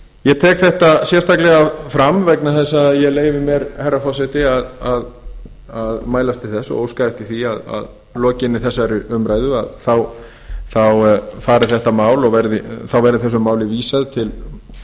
ég tek þetta sérstaklega fram vegna þess að ég leyfi mér herra forseti að mælast til þess og óska eftir því að að lokinni þessari umræðu verði málinu vísað